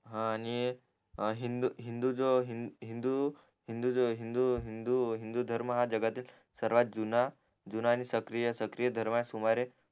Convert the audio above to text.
हा आणि हिंदू हिंदू जो हिंदू हिंदू धर्म जगातील सर्वात जुना जुना आणि सकरीय सकरीय धर्म आहे सुमारे